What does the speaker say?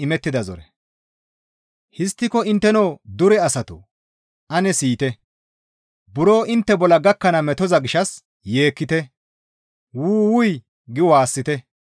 Histtiko intteno dure asatoo! Ane siyite. Buro intte bolla gakkana metoza gishshas yeekkite; «Wu! Wuy» gi waassite.